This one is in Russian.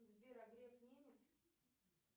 сбер а греф немец